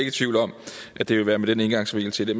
i tvivl om at det vil være med den indgangsvinkel til det